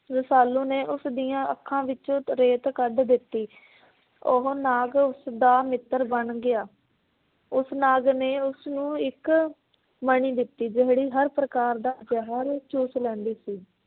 ਰਸਾਲੂ ਨੇ ਉਸ ਦੀਆਂ ਅੱਖਾਂ ਵਿੱਚ ਰੇਤ ਕੱਢ ਦਿੱਤੀ। ਉਹ ਨਾਗ ਉਸ ਦਾ ਮਿੱਤਰ ਬਣ ਗਿਆ। ਉਸ ਨਾਗ ਨੇ ਉਸਨੂੰ ਇਕ ਮਣੀ ਦਿੱਤੀ ਜਿਹੜੀ ਹਰ ਪ੍ਰਕਾਰ ਦਾ ਜ਼ਹਿਰ ਚੂਸ ਲੈਂਦੀ ਸੀ।